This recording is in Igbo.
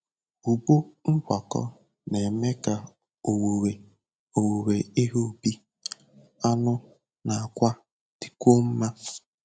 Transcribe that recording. Ugbo ngwakọ na-eme ka owuwe owuwe ihe ubi, anụ, na àkwá dịkwuo mma.